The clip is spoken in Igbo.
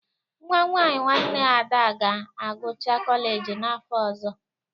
Nwa nwaanyị nwanne Ada ga-agụcha kọleji n'afọ ọzọ.